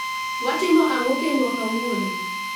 Watimo ang'o kendwa kawuono